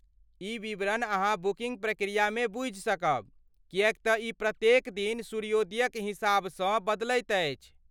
ई विवरण अहाँ बुकिन्ग प्रक्रियामे बूझि सकब, किएक तँ ई प्रत्येक दिन सूर्योदयक हिसाबसँ बदलैत अछि।